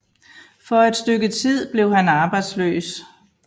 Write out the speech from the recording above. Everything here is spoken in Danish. For et stykke tid blev han arbejdsløs